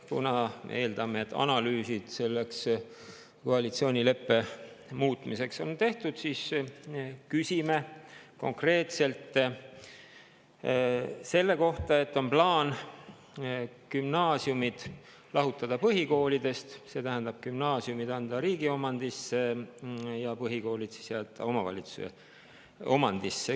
Kuna me eeldame, et analüüsid koalitsioonileppe muutmiseks on tehtud, siis küsime konkreetselt selle kohta, et on plaan gümnaasiumid lahutada põhikoolidest, see tähendab gümnaasiumid anda riigi omandisse ja põhikoolid jätta omavalitsuse omandisse.